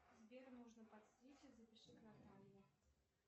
сбер нужно подстричься запиши к наталье